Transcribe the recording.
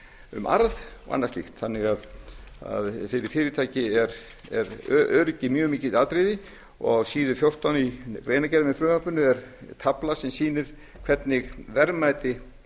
um arð og annað slíkt þannig að fyrir fyrirtækið er öryggið mjög mikið atriði og á síðu fjórtán í greinargerð með frumvarpinu er tafla sem sýnir hvernig verðmæti